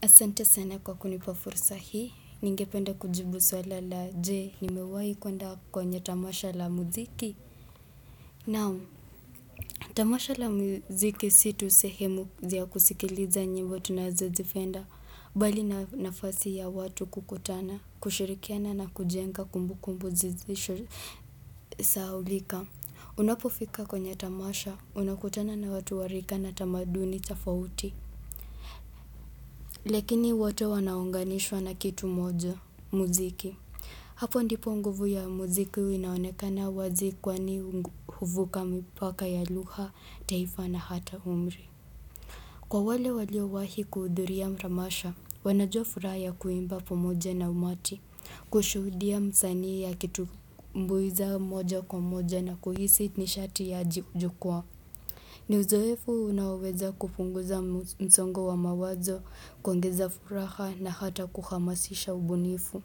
Asante sana kwa kunipa fursa hii, ninge penda kujibu swala la je, nimewahi kwenda kwenye tamasha la muziki. Naam, tamasha la muziki situ sehemu zia kusikiliza nyimbo tunazo zifenda, bali na nafasi ya watu kukutana, kushirikiana na kujenga kumbu kumbu zizisho sahulika. Unapofika kwenye tamasha, unakutana na watu warika na tamaduni tofauti. Lakini wote wanaunganishwa na kitu moja, muziki. Hapo ndipo nguvu ya muziki inaonekana wazi kwani huvuka mipaka ya lugha, taifa na hata umri. Kwa wale walio wahi kuhudhuria mramasha, wanajua furaha ya kuimba pamoja na umati, kushuhudia msanii a kitu mbuiza moja kwa moja na kuhisi nishati ya ajiujukua. Ni uzoefu unaoweza kupunguza msongo wa mawazo kuongeza furaha na hata kuhamasisha ubunifu.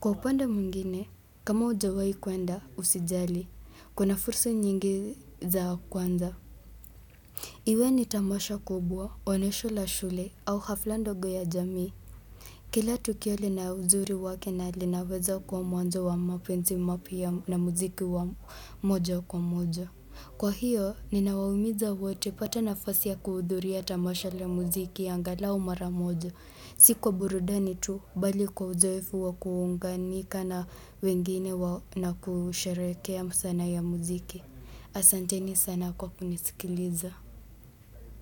Kwa upande mwingine, kama hujawai kwenda usijali, kuna fursa nyingi za kwanza. Iwe ni tamasha kubwa, onesho la shule au hafla ndogo ya jamii. Kila tukio lina uzuri wake na linaweza kuwa mwanzo wa mapenzi mapya na muziki wa moja kwa moja. Kwa hiyo, ninawaumiza wote pata nafasi ya kuhudhuria tamasha la muziki ya angalau maramoja. Si kwa burudani tu, bali kwa uzoefu wakuunga nika na wengine na kusherehekea msana ya muziki. Asante ni sana kwa kunisikiliza.